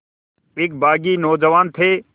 एक बाग़ी नौजवान थे